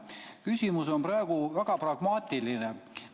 Küsimus on praegu väga pragmaatiline.